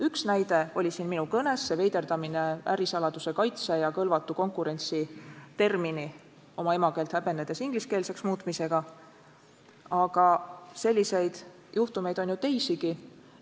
Üks näide oli siin minu kõnes see veiderdamine ärisaladuse kaitse ja kõlvatu konkurentsi termini oma emakeelt häbenedes ingliskeelseks muutmisega, aga selliseid juhtumeid on ju teisigi.